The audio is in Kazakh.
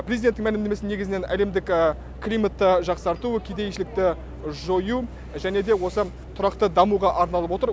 президенттің мәлімдемесі негізінен әлемдік климатты жақсарту кедейшілікті жою және де осы тұрақты дамуға арналып отыр